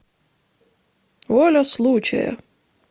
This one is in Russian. воля случая